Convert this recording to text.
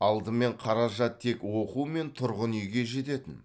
алдымен қаражат тек оқу мен тұрғын үйге жететін